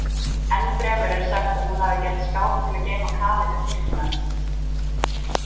Ennfremur er sagt að hún hafi gert skáp til að geyma í kaleika kirkjunnar.